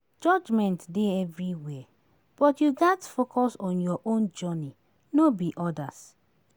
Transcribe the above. Judgment dey everywhere but you gats focus on your own journey, no be odas